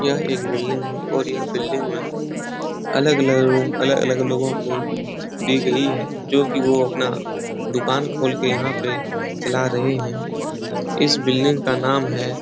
यह एक बिल्डिंग है और यह बिल्डिंग में अलग-अलग रूम अलग-अलग लोगों को दी गई है जोकि वो अपना दुकान खोलके यहाँ पे चला रहे हैं। इस बिल्डिंग का नाम है --